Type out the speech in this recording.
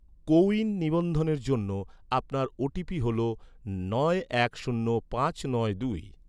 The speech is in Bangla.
কোউইন নিবন্ধনের জন্য, আপনার ওটিপি হল নয় এক শূন্য পাঁচ নয় দুই